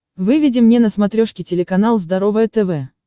выведи мне на смотрешке телеканал здоровое тв